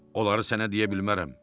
Onları sənə deyə bilmərəm.